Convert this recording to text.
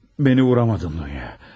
Məni vura bilmədin Dunya.